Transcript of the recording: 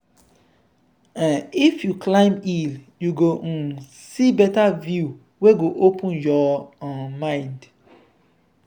um if you climb hill you go um see better view wey go open your um mind.